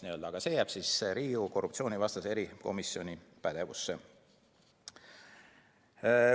Aga see jääb Riigikogu korruptsioonivastase erikomisjoni pädevusse.